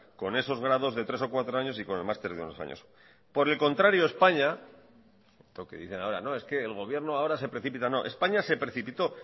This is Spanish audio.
con esos grados de tres o cuatro años y con el máster de unos años por el contrario españa esto que dicen ahora es que el gobierno ahora se precipita no españa se precipitó